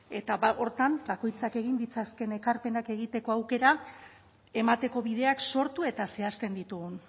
eta ba horretan bakoitzak egin ditzakeen ekarpenak egiteko aukera emateko bideak sortu eta zehazten ditugun